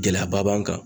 Gɛlɛyaba b'an kan